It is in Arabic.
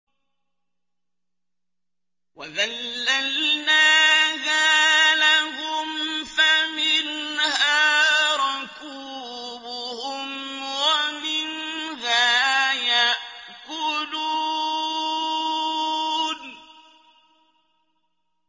وَذَلَّلْنَاهَا لَهُمْ فَمِنْهَا رَكُوبُهُمْ وَمِنْهَا يَأْكُلُونَ